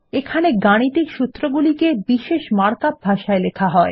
এখানে গাণিতিক সূত্রগুলিকে বিশেষ মার্কআপ ভাষায় লেখা হয়